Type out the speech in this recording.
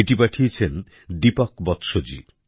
এটি পাঠিয়েছেন দীপক বৎসজী